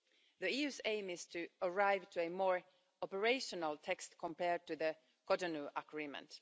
The EU's aim is to arrive at a more operational text compared to the Cotonou Agreement.